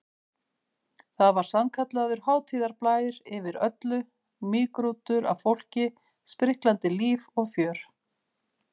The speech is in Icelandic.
Það var sannkallaður hátíðarblær yfir öllu, mýgrútur af fólki, spriklandi líf og fjör.